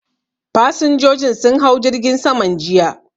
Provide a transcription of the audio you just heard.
Fasinjojin sun hau jirgin saman jiya